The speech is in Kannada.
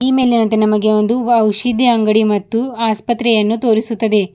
ಈ ಮೇಲಿನಂತೆ ನಮಗೆ ಒಂದು ಔಷಧಿ ಅಂಗಡಿ ಮತ್ತು ಆಸ್ಪತ್ರೆಯನ್ನು ತೋರಿಸುತ್ತದೆ.